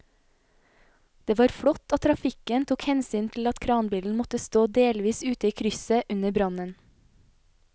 Det var flott at trafikken tok hensyn til at kranbilen måtte stå delvis ute i krysset under brannen.